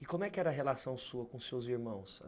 E como é que era a relação sua com seus irmãos?